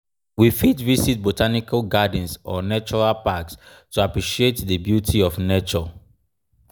we fit visit botanical gardens or natural packs to appreciate di beauty of nature